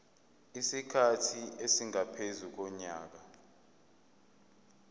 isikhathi esingaphezu konyaka